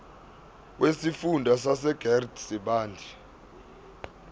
wesifunda sasegert sibande